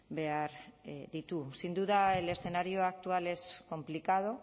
behar ditu sin duda el escenario actual es complicado